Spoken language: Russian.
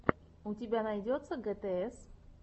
у тебя найдется гтс